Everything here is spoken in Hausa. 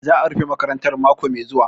Za'a rufe makarantar mako mai zuwa.